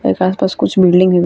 ए के आस-पास कुछ बील्डिंग हेय।